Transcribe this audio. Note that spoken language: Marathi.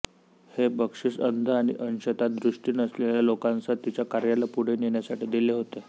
हे बक्षीस अंध आणि अंशतः दृष्टी नसलेल्या लोकांसह तिच्या कार्याला पुढे नेण्यासाठी दिले होते